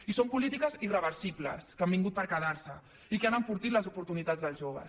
i són polítiques irreversibles que han vingut per quedar se i que han enfortit les oportunitats dels joves